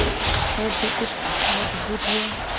हृदय कुछ मजबूत हुआ